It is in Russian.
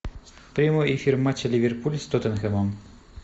прямой эфир матча ливерпуль с тоттенхэмом